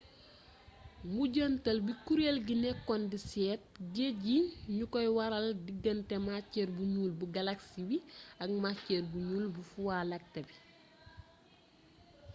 mujjantal bi kuréel gi nekkoon di seet géej yi ñoo koy waral digante maceer bu ñuul bu galaksi bi ak maceer bu ñuul bu vuwa lakté bi